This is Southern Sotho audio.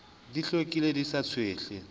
di hlwekile di sa tshwehle